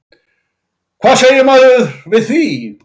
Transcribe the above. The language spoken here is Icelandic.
Hvað segir maður við því?